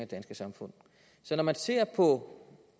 danske samfund så når man ser på